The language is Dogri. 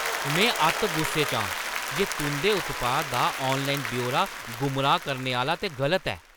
में अत्त गुस्से च आं जे तुंʼदे उत्पाद दा आनलाइन ब्यौरा गुमराह् करने आह्‌ला ते गलत ऐ।